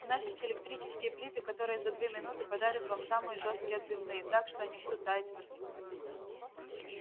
у нас есть электрические плиты которые за две минуты пожарят вам самые жёсткие отбивные так что они будут таять во рту